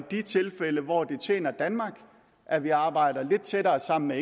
de tilfælde hvor det tjener danmark at vi arbejder lidt tættere sammen med